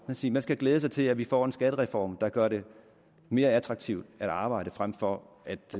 vil sige man skal glæde sig til at vi får en skattereform der gør det mere attraktivt at arbejde frem for at